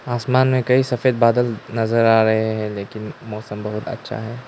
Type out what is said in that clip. आसमान में कई सफेद बादल नजर आ रहे हैं लेकिन मौसम बहुत अच्छा है।